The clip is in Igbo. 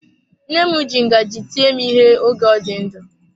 Nne m ji ngaji tie m ihe oge ọ dị ndụ.